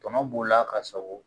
Tɔnɔ b'o la ka sɔgɔ